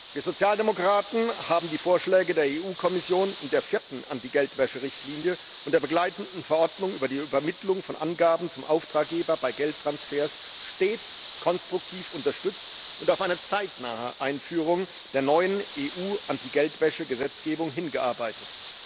Wir Sozialdemokraten haben die Vorschläge der EU Kommission in der vierten Anti Geldwäsche Richtlinie und der begleitenden Verordnung über die Übermittlung von Angaben zum Auftraggeber bei Geldtransfers stets konstruktiv unterstützt und auf eine zeitnahe Einführung der neuen EU Anti Geldwäsche Gesetzgebung hingearbeitet.